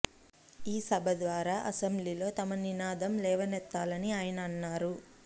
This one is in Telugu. ఈ సభ ద్వారా అసెంబ్లీలో తమ నినాదం లేవనెత్తాలని ఆయన అన్నారు